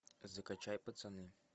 закачай пацаны